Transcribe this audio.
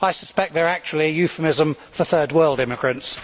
I suspect they are actually a euphemism for third world immigrants.